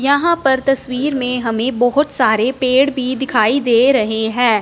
यहां पर तस्वीर में हमें बहोत सारे पेड़ भी दिखाई दे रहें हैं।